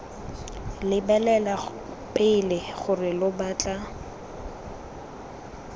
lebelela pele gore lo batla